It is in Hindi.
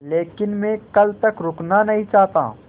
लेकिन मैं कल तक रुकना नहीं चाहता